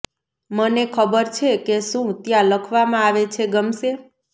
મને ખબર છે કે શું ત્યાં લખવામાં આવે છે ગમશે